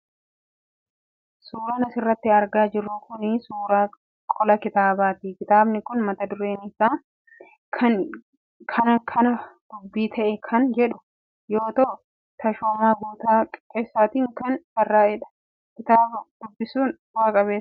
Suuraan asirratti argaa jirru kun suuraa qola kitaabaa ti. Kitaabni kun mata-dureen isaa 'Kana Kan Dubbii Ta'e' kan jedhu yoo ta'u Tashoomaa Guuttataa Qixxeessaatiin kan barraa'ee dha. Kitaaba dubbisuun bu'a qabeessa.